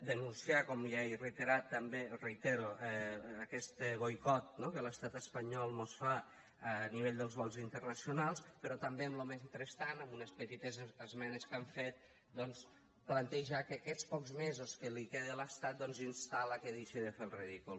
denunciar com ja he reiterat també o reitero aquest boicot no que l’estat espanyol mos fa a nivell dels vols internacionals però també en lo mentrestant amb unes petites esmenes que hem fet doncs plantejar que en aquests pocs mesos que li queda a l’estat instar lo a que deixi de fer el ridícul